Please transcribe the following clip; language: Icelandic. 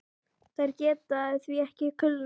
Þær geta því ekki kulnað.